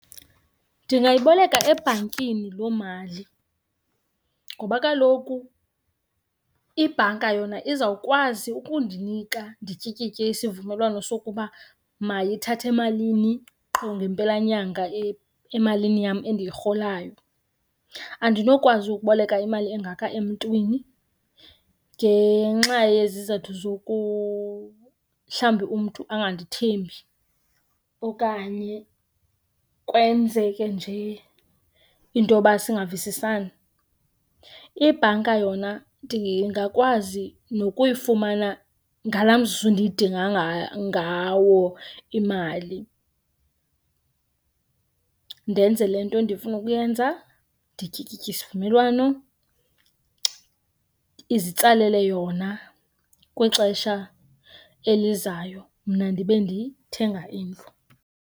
Ndingayiboleka ebhankini loo mali ngoba kaloku ibhanka yona izawukwazi ukundinika ndityikitye isivumelwano sokuba mayithathe malini qho ngempelanyanga emalini yam endiyirholayo. Andinokwazi ukuboleka imali engaka emntwini ngenxa yezizathu mhlawumbi umntu angandithembi okanye kwenzeke nje into yoba singavisisani. Ibhanka yona ndingakwazi nokuyifumana ngala mzuzu ndiyidinga ngawo imali, ndenze le nto endifuna ukuyenza, ndityikitye isivumelwano, izitsalele yona kwixesha elizayo. Mna ndibe ndithenga indlu.